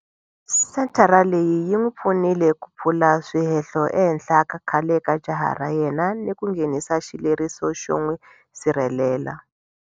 Senthara leyi yi n'wi pfunile ku pfula swihehlo ehenhla ka khale ka jaha ra yena ni ku nghenisa xileriso xo n'wi sirhelela.